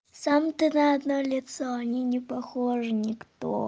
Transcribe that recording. сам ты на одно лицо они не похожи никто